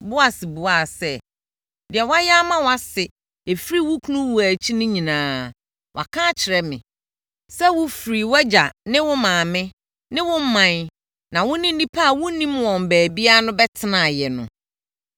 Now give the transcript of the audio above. Boas buaa sɛ, “Deɛ woayɛ ama wʼase ɛfiri wo kunu wuo akyi no nyinaa, wɔaka akyerɛ me, sɛ wofirii wʼagya ne wo maame ne wo ɔman na wo ne nnipa a wonnim wɔn baabiara no bɛtenaeɛ no.